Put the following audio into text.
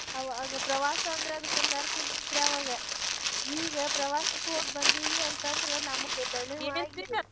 ಆವಾಗ ಪ್ರವಾಸ ಅಂದ್ರ್ ಅದಕ್ಕೊಂದ ಅರ್ಥ ಇರ್ತೀತ್ರಿ ಆವಾಗ ಈಗ ಪ್ರವಾಸಕ್ ಹೋಗಿ ಬಂದೇವಿ ಅಂತಂದ್ರ ನಮಗ್ ದಣಿವ್ ಆಗಿ